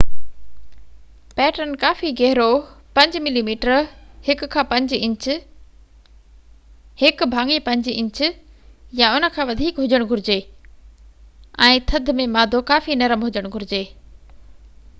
pattern ڪافي گهرو، 5 millimetre 1/5 inch يا هن کان وڌيڪ هجڻ گهرجي، ۽ ٿڌ ۾ مادو ڪافي نرم هجڻ گهرجي